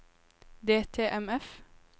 DTMF